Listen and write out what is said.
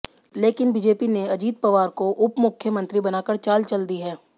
लेकिन बीजेपी ने अजित पवार को उप मुख्यमंत्री बनाकर चाल चल दी है